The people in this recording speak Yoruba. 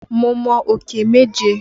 Mo mọ òkè méje.